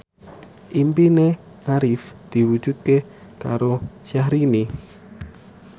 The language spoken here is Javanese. impine Arif diwujudke karo Syahrini